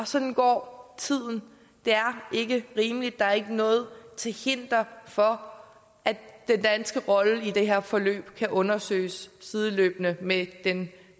sådan går tiden det er ikke rimeligt der er ikke noget til hinder for at den danske rolle i det her forløb kan undersøges sideløbende med den